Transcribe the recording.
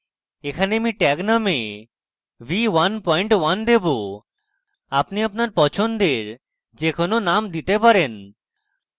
এখানে আমি tag name v11 দেবো আপনি আপনার পছন্দের যে কোনো name দিতে পারেন